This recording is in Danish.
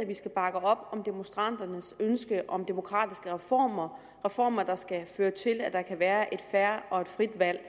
at vi skal bakke op om demonstranternes ønske om demokratiske reformer reformer der skal føre til at der kan være et fair og et frit valg